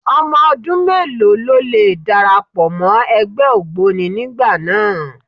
Ọmọ ọdún mélòó ló lè darapọ̀ mọ́ ẹgbẹ́ ògboni nígbà náà?